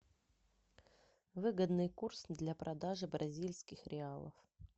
выгодный курс для продажи бразильских реалов